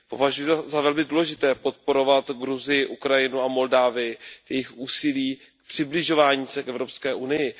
Považuji za velmi důležité podporovat Gruzii, Ukrajinu a Moldavsko v jejich úsilí v přibližování se k Evropské unii.